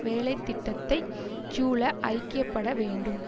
வேலைத்திட்டத்தைச் சூழ ஐக்கிய பட வேண்டும்